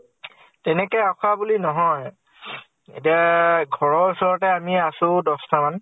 তেনেকে আখৰা বুলি নহয় । এতিয়া ঘৰ ৰ ওচৰতে আমি আছো দশ টা মান